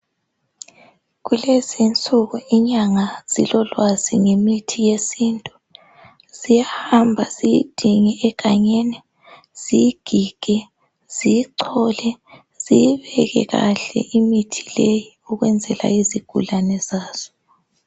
Kulezi insuku inyanga zilolwazi ngemithi yesintu. Ziyahamba ziyidinge egangeni ziyigige ziyichole. Ziyibeke kahle imithi leyi ukwenzela izigulane zazo..